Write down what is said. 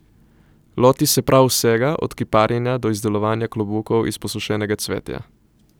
Loti se prav vsega, od kiparjenja do izdelovanja klobukov iz posušenega cvetja ...